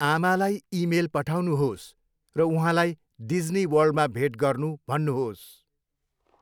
आमालाई इमेल पठाउनुहोस् र उहाँलाई डिज्नी वर्ल्डमा भेट गर्नू भन्नुहोस्।